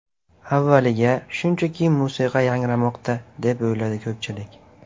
Avvaliga, shunchaki musiqa yangramoqda, deb o‘yladi ko‘pchilik.